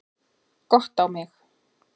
Gott á mig.